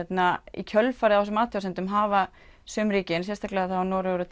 í kjölfarið á þessum athugasemdum hafa sum ríkin sérstaklega Noregur og